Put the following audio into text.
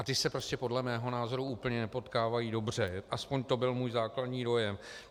A ty se prostě podle mého názoru úplně nepotkávají dobře, aspoň to byl můj základní dojem.